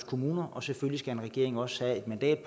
kommuner og selvfølgelig skal en regering også have et mandat